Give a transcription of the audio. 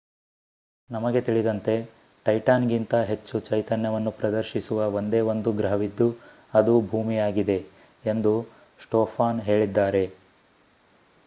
ನಮಗೆ ತಿಳಿದಂತೆ ಟೈಟಾನ್ ಗಿಂತ ಹೆಚ್ಚು ಚೈತನ್ಯವನ್ನು ಪ್ರದರ್ಶಿಸುವ ಒಂದೇ ಒಂದು ಗ್ರಹವಿದ್ದು ಅದು ಭೂಮಿಯಾಗಿದೆ ಎಂದು ಸ್ಟೊಫಾನ್ ಹೇಳಿದ್ದಾರೆ